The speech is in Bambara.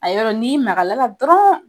A yɔrɔn'i magam'a la dɔrɔn